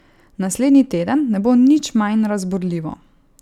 Naslednji teden ne bo nič manj razburljivo.